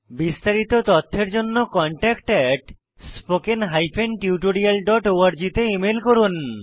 বিস্তারিত তথ্যের জন্য contactspoken tutorialorg তে ইমেল করুন